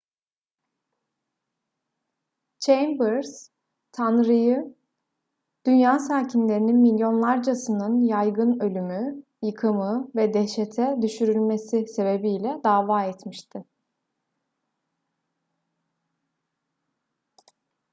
chambers tanrı'yı dünya sakinlerinin milyonlarcasının yaygın ölümü yıkımı ve dehşete düşürülmesi sebebiyle dava etmişti